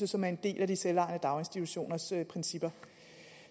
som er en del af de selvejende daginstitutioners principper